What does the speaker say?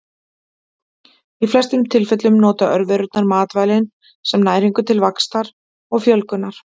Í flestum tilfellum nota örverurnar matvælin sem næringu til vaxtar og fjölgunar.